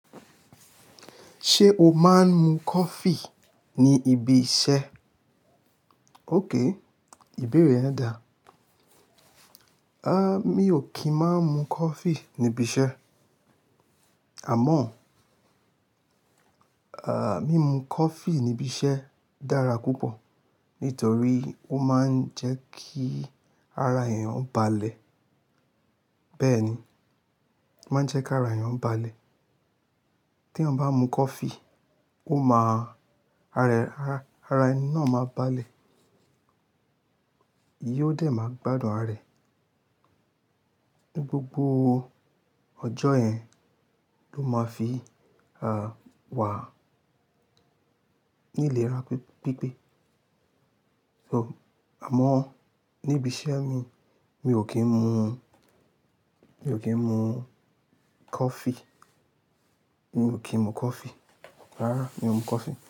Ṣé o máa ń mu coffee ní ibi iṣẹ́? Okay, ìbéèrè rẹ dáa. Mi ò kí ń má mu coffee níbi iṣẹ́. Àmọ́, mímu coffee níbi iṣẹ́ dára púpọ̀ nítorí ó máa ń jẹ́ kí ara èèyàn balẹ̀. Bẹ́ẹ̀ ni, ó máa ń jẹ́ kí ara èèyàn balẹ̀. Tí èèyàn bá mu coffee, ó máa-- ara, ara, ara ẹni náà máa balẹ̀. Ye ó dẹ̀ máa gbádùn ara ẹ̀. Ni gbogbo ọjọ́ yẹn, ló máa fi, wà ní ìlera pípé. So, àmọ́ níbi iṣẹ́ mi, mi ò kí ń mu, mi ò kí ń mu coffee. Mi ò kí ń mu coffee. Rárá, mi ò mu coffee.